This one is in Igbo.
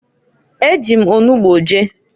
E ji m onugbo je.